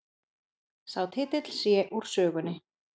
Sá titill sé úr sögunni